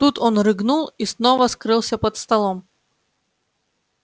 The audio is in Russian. тут он рыгнул и снова скрылся под столом